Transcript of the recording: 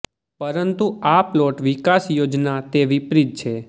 પરંતુ આ પ્લોટ વિકાસ યોજના તે વિપરીત છે